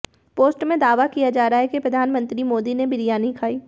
post में दावा किया जा रहा है कि प्रधानमंत्री मोदी ने बिरयानी खायी